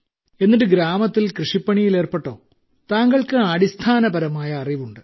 എന്നിട്ട് ഗ്രാമത്തിൽ കൃഷിപ്പണിയിൽ ഏർപ്പെട്ടോ താങ്കൾക്ക് അടിസ്ഥാനപരമായ അറിവുണ്ട്